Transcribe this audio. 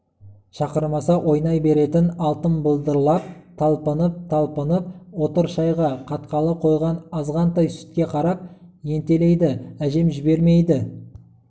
шақырмаса ойнай беретін алтын былдырлап талпынып-талпынып отыр шайға қатқалы қойған азғантай сүтке қарап ентелейді әжем жібермейді